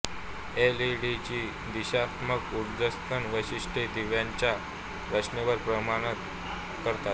एलईडीची दिशात्मक उत्सर्जन वैशिष्ट्ये दिव्यांच्या रचनेवर परिणाम करतात